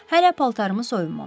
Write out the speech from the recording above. Hələ paltarımı soyunmamışdım.